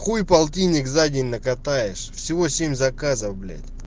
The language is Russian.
хуй полтинник за день накатаешь всего семь заказов блять